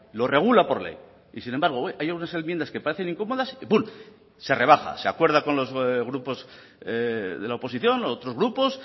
lo regula por ley y sin embargo hay algunas enmiendas que parecen incómodas y pun se rebaja se acuerda con los grupos de la oposición u otros grupos